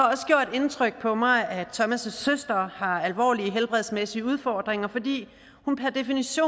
indtryk på mig at thomas søster har alvorlige helbredsmæssige udfordringer fordi